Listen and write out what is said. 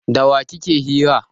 Da wa kike hira?